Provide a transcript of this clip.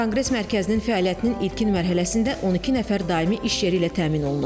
Konqres mərkəzinin fəaliyyətinin ilkin mərhələsində 12 nəfər daimi iş yeri ilə təmin olunub.